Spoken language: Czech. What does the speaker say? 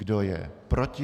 Kdo je proti?